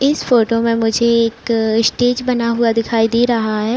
इस फ़ोटो में मुझे एक स्टेज बना हुआ दिखाई दे रहा है।